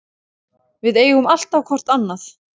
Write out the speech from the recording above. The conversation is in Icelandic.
Við eigum alltaf hvort annað.